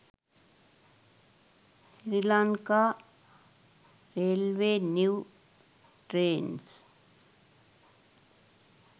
sri lanka railway new trains